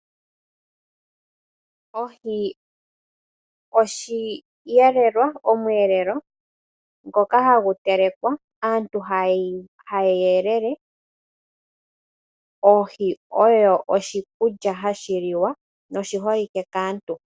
Ohi oshiyelelwa/omweelelo ngoka ha gu telekwa, aantu haya elele. Oohi oyo oshikulya hashi liwa no shi holike kaantu.